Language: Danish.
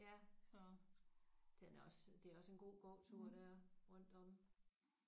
Ja den er også det er også en god gåtur der rundt om